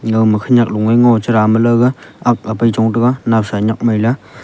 khenyak loe ngon chera malaoga ak apai chong taiga nowsa nakmailey.